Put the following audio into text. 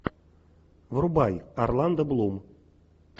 врубай орландо блум